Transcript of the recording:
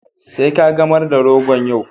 Sai kagamar da rogon yau.